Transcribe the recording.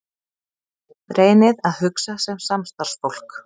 Reynið að hugsa sem samstarfsfólk.